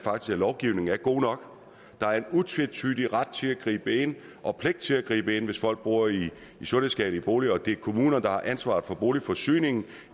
lovgivningen faktisk er god nok der er en utvetydig ret til at gribe ind og pligt til at gribe ind hvis folk bor i sundhedsskadelige boliger og det er kommunen der har ansvaret for boligforsyningen